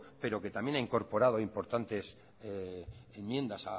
pero que también ha incorporado importantes enmiendas